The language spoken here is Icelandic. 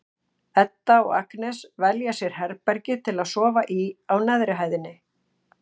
Edda og Agnes velja sér herbergi til að sofa í á neðri hæðinni.